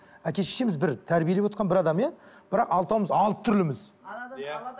әке шешеміз бір тәрбиелеп отырған бір адам иә бірақ алтауымыз алты түрліміз